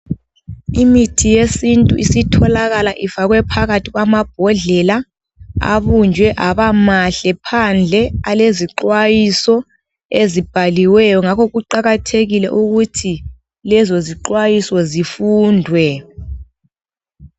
Imithi yesintu isitholakala ifakwe phakathi kwamabhodlela, abunjwe abamahle phandle alezixwayiso, ezibhaliweyo ngakho kuqakathekile ukuthi lezo zixwayiso zifundwe.